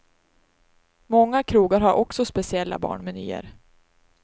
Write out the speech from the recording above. Många krogar har också speciella barnmenyer.